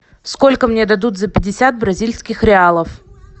сколько мне дадут за пятьдесят бразильских реалов